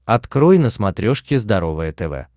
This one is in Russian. открой на смотрешке здоровое тв